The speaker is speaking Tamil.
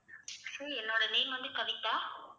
என்னோட name வந்து கவிதா